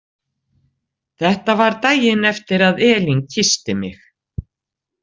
Þetta var daginn eftir að Elín kyssti mig.